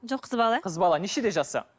жоқ қыз бала қыз бала нешеде жасы